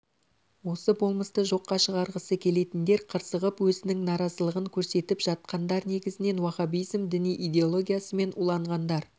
осы болмысты жоққа шығарғысы келетіндер қырсығып өзінің наразылығын көрсетіп жатқандар негізінен уахабизм діни идеологиясымен уланғандар